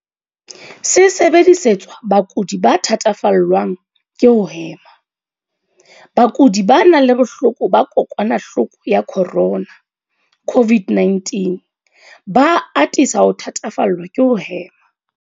Se sebedisetswa bakudi ba thatafallwang ke ho hema. Bakudi ba nang le bohloko ba kokwanahloko ya corona, CO-VID-19, ba atisa ho thatafallwa ke ho hema.